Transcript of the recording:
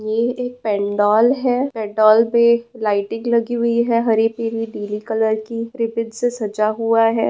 ये एक पेंडॉल है पेंडॉल पे एक लाइटिंग लगी हुई है हरी पीली नीली कलर की रिबिन से सजा हुआ है।